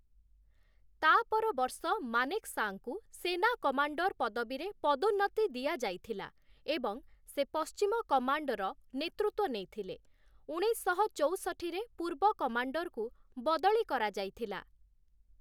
ତା'ପର ବର୍ଷ ମାନେକ୍‌ଶାଙ୍କୁ ସେନା କମାଣ୍ଡର୍‌ ପଦବୀରେ ପଦୋନ୍ନତି ଦିଆଯାଇଥିଲା ଏବଂ ସେ ପଶ୍ଚିମ କମାଣ୍ଡର ନେତୃତ୍ୱ ନେଇଥିଲେ । ଉଣେଇଶଶହ ଚଉଷଠି ରେ ପୂର୍ବ କମାଣ୍ଡରକୁ ବଦଳି କରାଯାଇଥିଲା ।